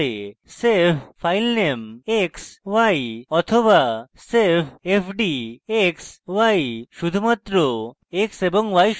save filename x y বা save fd x y শুধুমাত্র নামাঙ্কিত ভ্যারিয়েবল x এবং y সংরক্ষণ করে